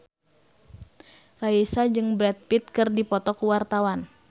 Raisa jeung Brad Pitt keur dipoto ku wartawan